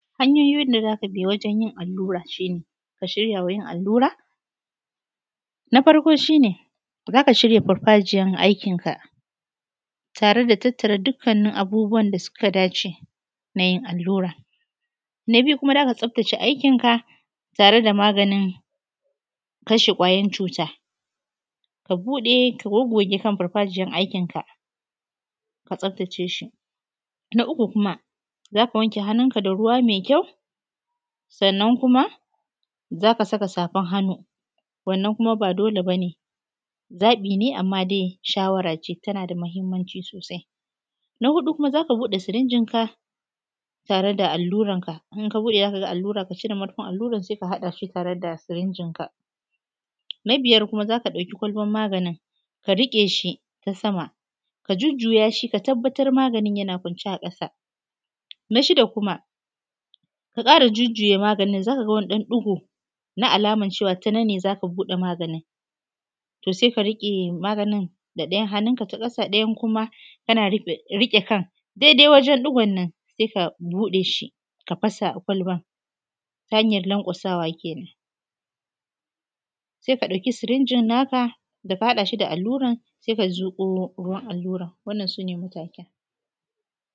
Haʹnyo`yiʹn da zakabiʹ guriʹnyiʹn allura shine ka shiʹryawa yiʹn allura na faʹrko shine zaka shiʹrya faʹrfajiya`n aiʹkiʹn ka tare da taʹtta`ra dukkanin abubuwa`n da suka dace da yiʹn allura. Na biyu kuma zaka tsaʹftace aiʹkiʹn ka tare da maganin kashe kwayoyiʹn cuta, ka buɗe goggoge kan faʹrfajiya`n aikiʹn ka, ka tsaʹftace shiʹ, na uku kuma zaka wanke hannun ka da ruwa maʹi kya`u saʹnnaʹn kuma zaka saka safaʹn hannu wannan kuma ba dole bane, zaɓiʹn ka ne` amma daʹi shawara ce tana da mahiʹmma`nciʹ sosaʹi. Na hudu kuma buɗe sirinjin ka tare da alluran ka, zaʹkaga allura`n saʹi ka` cire murfiʹn alluran sai ka haɗashi tare da siriʹnjiʹn ka. Na biyar kuma zaka ɗauki kwaʹlba`n maʹganiʹn ka rikeshi ta sama ka jiʹjjuya` shiʹ ka taʹbbataʹr maʹga`ni`n yana kwaʹnce` a kasa. Na shiʹda` kuma ka ƙara juʹjjuya` maganiʹn zakaga wani ɗaʹn ɗi`go na alaman cewa ta naʹnn`e zaka buɗe maganin to sai ka riƙe maganiʹn da ɗaya`n hanʹnuʹnka` ta ƙa`sa` ɗaya kuma kana riƙe kaʹn daʹi daʹi wajen ɗigoʹnnʹon saʹi ka buɗeshi ka fasa kwaʹlba`n ta haʹnyaʹn laʹnkwa`sawa kenan sai ka ɗauki siriʹnjiʹn naka daka haɗashi da alluraʹn sai ka zuƙo ruwaʹn alluraʹn wannan sune matakaʹn.